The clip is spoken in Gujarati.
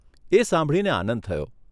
એ સાંભળીને આનંદ થયો.